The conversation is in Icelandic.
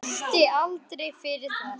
Hún þrætti aldrei fyrir það.